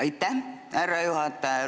Aitäh, härra juhataja!